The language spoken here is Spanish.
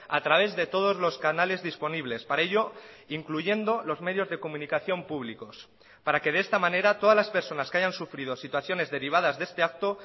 a través de todos los canales disponibles para ello incluyendo los medios de comunicación públicos para que de esta manera todas las personas que hayan sufrido situaciones derivadas de este acto